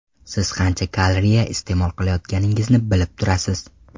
Siz qancha kalriya iste’mol qilayotganingizni bilib turasiz.